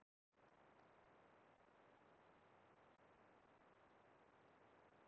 Lilla settist á trétröppurnar og horfði í kringum sig um stund.